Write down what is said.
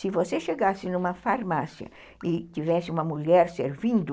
Se você chegasse numa farmácia e tivesse uma mulher servindo,